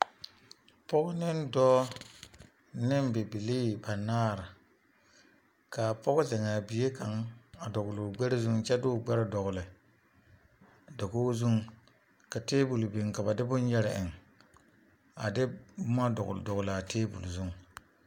Pɔge ne dɔɔ ne bibilii banaare la laŋ taa k,a pɔge zɛŋ a bie kaŋ dɔgle o gbɛre zuŋ kyɛ de o gbɛre dɔgle dakogi zuŋ ka tabol biŋ ka ba de bone yɛre eŋ a de boma dɔgle dɔgle a tabol zuŋ.